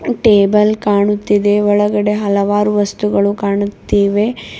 Table ಕಾಣುತ್ತಿದೆ ಒಳಗಡೆ ಹಲವಾರು ವಸ್ತುಗಳು ಕಾಣುತ್ತಿವೆ.